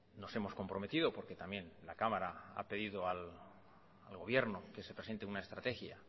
nos hemos comprometido porque también la cámara ha pedido al gobierno que se presente una estrategia